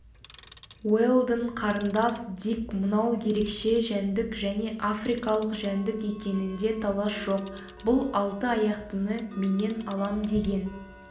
уэлдон қарындас дик мынау ерекше жәндік және африкалық жәндік екенінде талас жоқ бұл алты аяқтыны менен алам деген